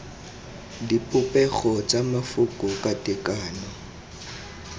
dipopego tsa mafoko ka tekano